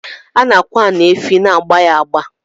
Ana akwad ani efi na igba ya agba.